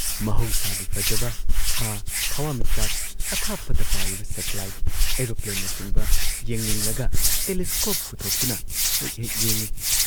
ꯃꯍꯧꯁꯥꯒꯤ ꯐꯖꯕ ꯊꯥ, ꯊꯋꯥꯟꯃꯤꯆꯥꯛ ꯑꯊꯥꯞꯄꯗ ꯄꯥꯏꯔꯤꯕ ꯁꯦꯇꯤꯂꯥꯏꯠ ꯑꯦꯔꯣꯄ꯭ꯂꯦꯟꯅꯆꯤꯡꯕ ꯌꯦꯡꯅꯤꯡꯂꯒ ꯇꯦꯂꯤꯁꯀꯣꯞ ꯄꯨꯊꯣꯛꯇꯨꯅ ꯍꯦꯛ ꯍꯦꯛ ꯌꯦꯡꯏ ꯫